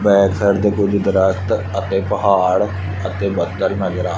back side ਤੇ ਕੁਝ ਦਰਖਤ ਅਤੇ ਪਹਾੜ ਅਤੇ ਬੱਦਲ ਨਜ਼ਰ ਆ--